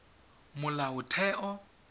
molaotheo